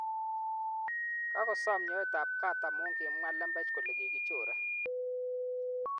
Kakosom nyoetab gaat amu kimwa lembech kole kikichore.